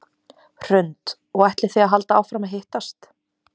Hrund: Og ætlið þið að halda áfram að hittast?